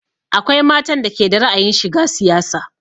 Akwai matan da ke da ra'ayin shiga siyasa